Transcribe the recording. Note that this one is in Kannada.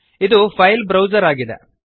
ಇದು ಫೈಲ್ ಬ್ರೌಜರ್ ಆಗಿದೆ